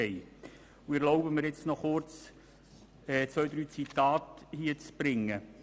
Ich erlaube mir kurz, zwei drei Zitate wiederzugeben.